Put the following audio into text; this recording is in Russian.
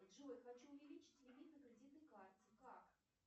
джой хочу увеличить лимит на кредитной карте как